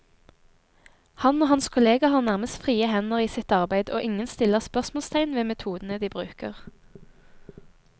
Han og hans kolleger har nærmest frie hender i sitt arbeid, og ingen stiller spørsmålstegn ved metodene de bruker.